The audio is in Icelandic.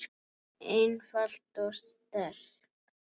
einfalt og sterkt.